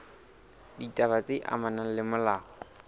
ditaba tse amanang le molao